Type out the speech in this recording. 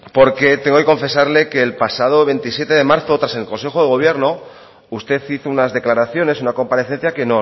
porque tengo que confesarle que el pasado veintisiete de marzo tras el consejo de gobierno usted hizo unas declaraciones una comparecencia que